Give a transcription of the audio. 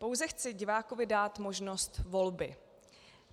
Pouze chci divákovi dát možnost volby.